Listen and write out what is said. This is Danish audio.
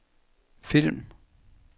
film